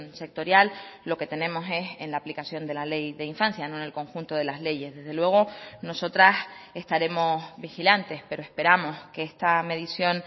sectorial lo que tenemos es en la aplicación de la ley de infancia no en el conjunto de las leyes desde luego nosotras estaremos vigilantes pero esperamos que esta medición